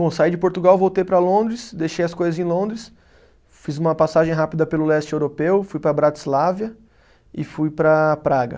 Bom, saí de Portugal, voltei para Londres, deixei as coisas em Londres, fiz uma passagem rápida pelo leste europeu, fui para Bratislava e fui para Praga.